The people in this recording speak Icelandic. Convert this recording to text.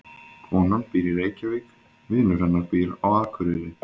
Konan býr í Reykjavík. Vinur hennar býr á Akureyri.